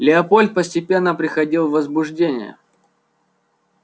леапольд постепенно приходил в возбуждение